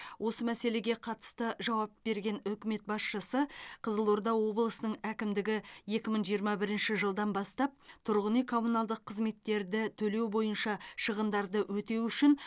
осы мәселеге қатысты жауап берген үкімет басшысы қызылорда облысының әкімдігі екі мың жиырма бірінші жылдан бастап тұрғын үй коммуналдық қызметтерді төлеу бойынша шығындарды өтеу үшін